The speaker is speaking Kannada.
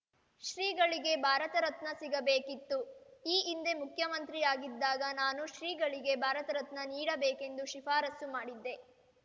ಶ್ರೀಗಳಿಗೆ ಭಾರತ ರತ್ನ ಸಿಗಬೇಕಿತ್ತು ಈ ಹಿಂದೆ ಮುಖ್ಯಮಂತ್ರಿಯಾಗಿದ್ದಾಗ ನಾನು ಶ್ರೀಗಳಿಗೆ ಭಾರತರತ್ನ ನೀಡಬೇಕೆಂದು ಶಿಫಾರಸು ಮಾಡಿದ್ದೆ